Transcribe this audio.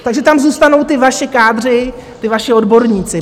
Takže tam zůstanou ti vaši kádři, ti vaši odborníci.